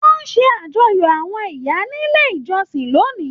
Wọn ṣe àjọyọ̀ àwọn ìyá nílé ìjọsìn lónìí.